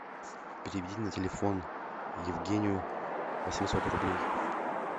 переведи на телефон евгению восемьсот рублей